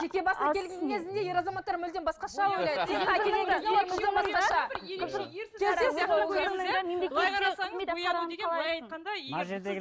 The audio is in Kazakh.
жеке басына келген кезінде ер азаматтар мүлдем басқаша ойлайды